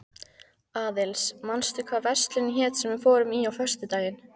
Aðils, manstu hvað verslunin hét sem við fórum í á föstudaginn?